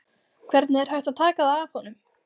Hvernig er hægt að taka það af honum?